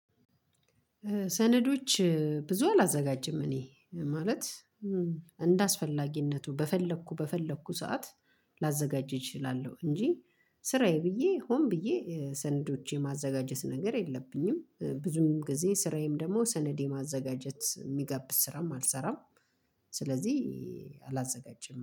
ሰነዶች ብዙ አላዘጋጅም እኔ ማለት እንደአስፈላጊነቱ በፈለኩ በፈለኩ ሰዓት ላዘጋጅ እችላለሁ እንጂ ስራዬ ብዬ ሆን ብዬ ሰንዶች የማዘጋጀት ነገር የለብኝም ብዙም ጊዜ ስራዬም ደግሞ ሰነድ የማዘጋጀት የሚጋብዝ ስራም አልሰራም ስለዚህ አላዘጋጅም።